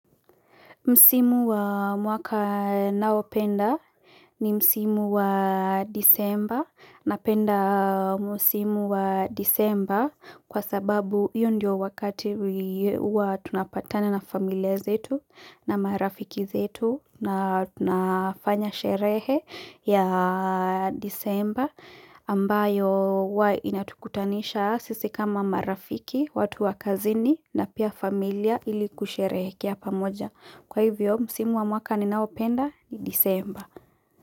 Msimu wa mwaka nao penda ni Msimu wa disemba napenda Msimu wa disemba kwa sababu hiyo ndio wakati huwa tunapatana na familia zetu na marafiki zetu na tunafanya sherehe ya disemba ambayo inatukutanisha sisi kama marafiki, watu wakazini na pia familia ili kusherekea pamoja. Kwa hivyo, msimu wa mwaka ni naopenda ni disemba.